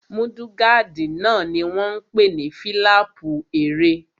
Múdúgáàdì náà ni wọ́n n pè ní fílàpù ẹrẹ̀